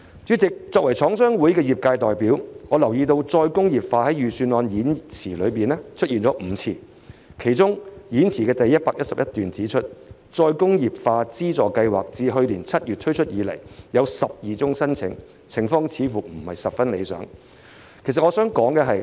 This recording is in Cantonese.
主席，作為廠商會的業界代表，我留意到"再工業化"在本年度預算案演辭中出現了5次，其中演辭第111段指出，再工業化資助計劃自去年7月推出以來，共收到12宗申請，情況似乎不太理想。